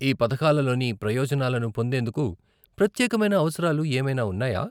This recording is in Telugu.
ఈ పథకాల లోని ప్రయోజనాలను పొందేందుకు ప్రత్యేకమైన అవసరాలు ఏమైనా ఉన్నాయా?